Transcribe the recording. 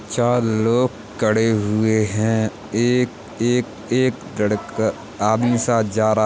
चार लोग कड़े हुए हैं। एक एक एक लड़का आदमी साथ जा रहा --